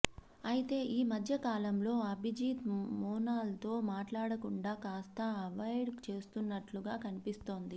అయితే ఈ మధ్యకాలంలో అభిజీత్ మోనాల్తో మాట్లాడకుండా కాస్త అవాయిడ్ చేస్తున్నట్లుగా కనిపిస్తోంది